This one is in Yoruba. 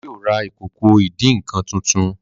baba yíò rá Ìkòkò ìdín-nǹkan títún.